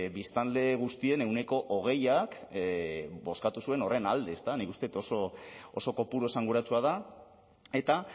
biztanle guztien ehuneko hogeiak bozkatu zuen horren alde nik uste dut oso kopuru esanguratsua da eta